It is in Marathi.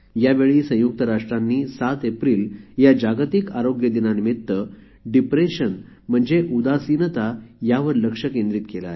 यावेळी संयुक्त राष्ट्रांनी 7 एप्रिल या जागतिक आरोग्य दिनानिमित्त डिप्रेशन म्हणजे उदासीनता यावर लक्ष केंद्रीत केले